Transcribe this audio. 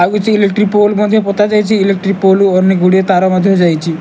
ଆଉ କିଛି electric pole ମଧ୍ୟ ପୋତାଯାଇଛି ଇଲେକ୍ଟ୍ରିକ ପୋଲ ରୁ ଅନେକ ଗୁଡ଼ିଏ ତାର ମଧ୍ୟଯାଇଛି।